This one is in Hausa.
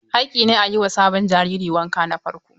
Haƙƙi ne a yi ma sabon jariri wanka na farko.